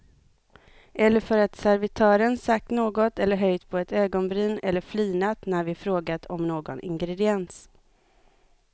Eller för att servitören sagt något eller höjt på ett ögonbryn eller flinat när vi frågat om någon ingrediens.